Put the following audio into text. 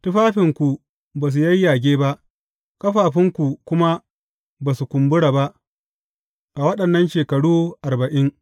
Tufafinku ba su yayyage ba, ƙafafunku kuma ba su kumbura ba a waɗannan shekaru arba’in.